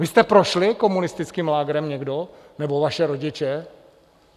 Vy jste prošli komunistickým lágrem někdo nebo vaši rodiče?